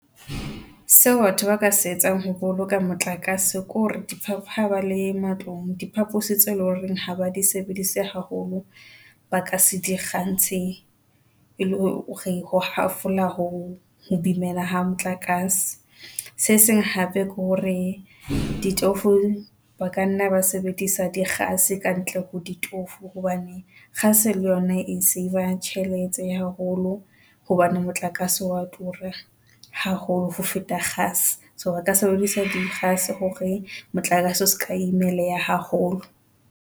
Seo batho ba ka se etsang ho boloka motlakase ke hore di ha ba le matlong diphapusi tse leng hore ha ba di sebedise haholo, ba ka se di kgantshe e le hore hafola ho bimela ha motlakase, se seng hape ke hore ditofo ba ka nna ba sebedisa di kgase ka ntle ho ditofo hobane kgase le yona e saver tjhelete haholo hobane motlakase wa tura. Haholo ho feta kgase. So, re ka sebedisa dikgase hore motlakase o seka imeleha haholo.